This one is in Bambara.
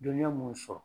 Dɔnniya mun sɔrɔ